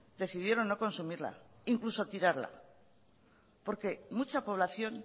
decidieron no consumirla e incluso tirarla porque mucha población